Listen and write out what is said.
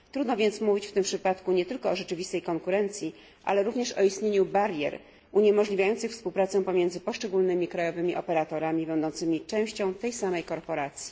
Trudno więc mówić w tym przypadku nie tylko o rzeczywistej konkurencji, ale również o istnieniu barier uniemożliwiających współpracę pomiędzy poszczególnymi krajowymi operatorami będącymi częścią tej samej korporacji.